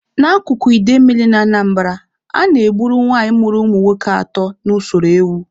N'akụkụ idemmili na Anambara, a na-egburu nwanyị mụrụ ụmụ nwoke atọ na usoro ewu.